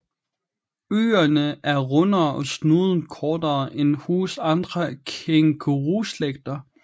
Ørerne er rundere og snuden kortere end hos andre kænguruslægter